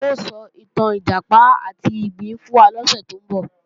Táyọ̀ ó sọ ìtàn Ìjàpá àti ìgbín fún wa lọ́sẹ̀ tó ń bọ̀